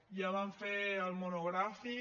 ja vam fer el monogràfic